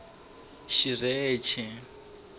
xirheche